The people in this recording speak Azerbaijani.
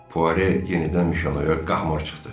Fuare yenidən Mişonoya qahmar çıxdı.